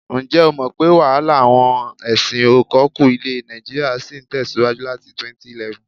Ǹjẹ́ o mọ̀ pé wàhálà àwọn ẹṣin-ò-kọkú ilẹ̀ nàìjíríà ṣì ń tẹ̀síwájú láti 2011?